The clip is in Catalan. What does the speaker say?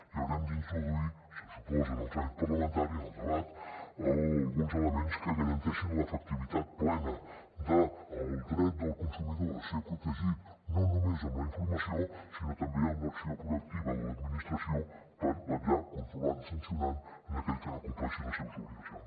i haurem d’introduir se suposa en el tràmit parlamentari en el debat alguns elements que garanteixin l’efectivitat plena del dret del consumidor a ser protegit no només amb la informació sinó també amb l’acció proactiva de l’administració per vetllar controlant i sancionant aquell que no compleixi les seves obligacions